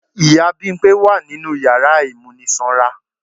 Ìyá Bimpé wa ninú yàrá ìmúnisanra.